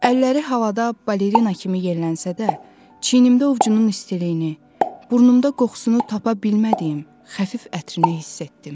Əlləri havada balerina kimi yellənsə də, çiynimdə ovcunun istiliyini, burnumda qoxusunu tapa bilmədiyim xəfif ətrini hiss etdim.